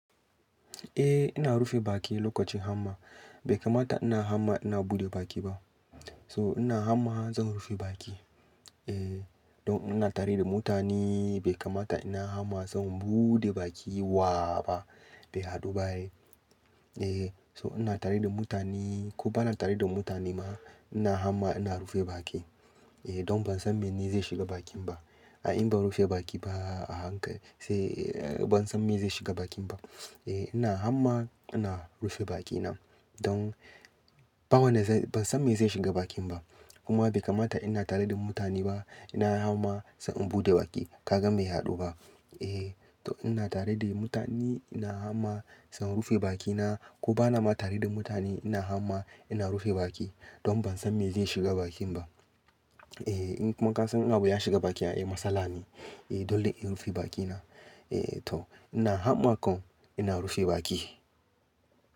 A ina rufe baki lokacin hamma. Bai kamata ina hamma ina buɗe baki ba. To ina hamma zan rufe baki. Eh don ina tare da mutane bai kamata ina hamma zan buɗe baki wa ba, bai haɗu ba ai. Eh so ina tare da mutane ko bana tare da mutane ma ina hamma ina rufe baki. Eh don ban san me ne zai shiga bakin ba. A in ban rufe baki ba a haka sai ban san me zai shiga bakin ba. A ina hamma ina rufe bakina don ba wanda zan-- ban san me zai shiga bakin ba. Kuma bai kamata ina tare da mutane ba ina hamma sai in buɗe baki. Ka gan bai haɗu ba? A to ina tare da mutane ina hamma zan rufe bakina ko bana ma tare da mutane ina hamma ina rufe baki. Don ban san me zai shiga bakin ba. Eh in kuma kasan in abu ya shiga baki eh matsala ne. Eh dole in rufe bakina. Eh to ina hamma kom ina rufe baki.